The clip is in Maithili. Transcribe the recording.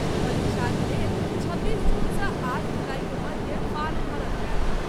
परीक्षाक लेल छब्बीस जून सॅ आठ जुलाई के मध्य फार्म भरल जाएत।